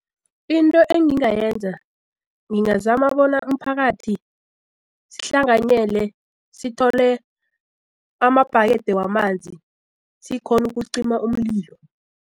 Into engingayenza ngingazama bona umphakathi sihlanganyele sithole amabhakede wamanzi sikghona ukucima umlilo.